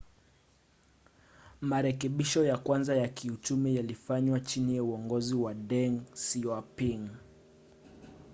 marekebisho ya kwanza ya kiuchumi yalifanywa chini ya uongozi wa deng xiaoping